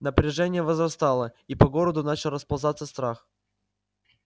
напряжение возрастало и по городу начал расползаться страх